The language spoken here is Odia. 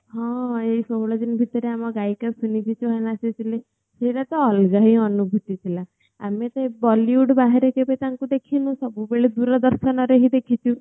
ହଁ ଏହି ଷୋହଳ ଦିନ ଭିତରେ ଆମ ଗାୟିକା ସୁନିଧି ଚୌହାନ୍ ଆସିଥିଲେ ସେଇଡା ତ ଅଲଗା ହିଁ ଅନୁଭୁତି ଥିଲା ଆମେ ସେ bollywood ବାହାରେ କେବେ ତାଙ୍କୁ ଦେଖିନୁ ସବୁ ବେଳେ ଦୂରଦର୍ଶନ ରେ ହିଁ ଦେଖିଛୁ